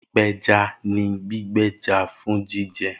Ipeja ni gbigbe ẹja fun jijẹ